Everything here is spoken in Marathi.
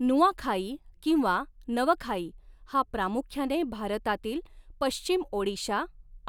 नुआखाई किंवा नवखाई हा प्रामुख्याने भारतातील पश्चिम ओडिशा